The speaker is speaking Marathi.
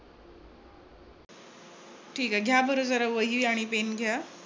ठीक आहे. घ्या बर जरा वही आणि पेन घ्या.